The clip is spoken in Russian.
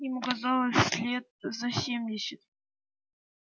ему казалось лет за семьдесят